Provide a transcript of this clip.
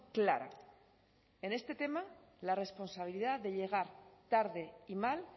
clara en este tema la responsabilidad de llegar tarde y mal